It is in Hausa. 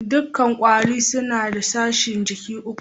Dukan kwarere suna da sashin jiki uku.